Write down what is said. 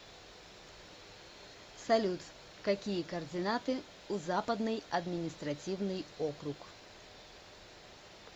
салют какие координаты у западный административный округ